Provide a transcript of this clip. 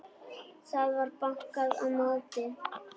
Það var bankað á móti.